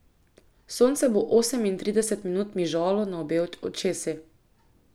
Sonce bo osemintrideset minut mižalo na obe očesi.